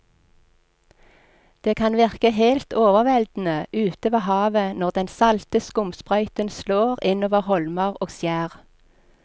Det kan virke helt overveldende ute ved havet når den salte skumsprøyten slår innover holmer og skjær.